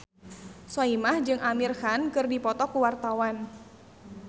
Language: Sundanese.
Soimah jeung Amir Khan keur dipoto ku wartawan